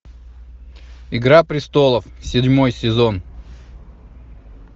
игра престолов седьмой сезон